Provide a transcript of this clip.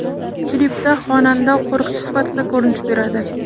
Klipda xonanda qo‘riqchi sifatida ko‘rinish beradi.